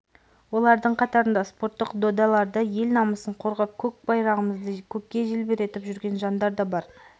олардың қатарында спорттық додаларда ел намысын қорғап көк байрағымызды көкке желбіретіп жүрген жандар да бар